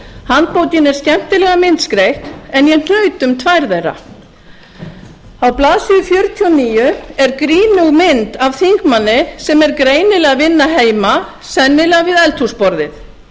handbókin er skemmtilega myndskreytt en ég hnaut um tvær á blaðsíðu fjörutíu og níu er grínug mynd af þingmanni sem er greinilega að vinna heima sennilega við eldhúsborðið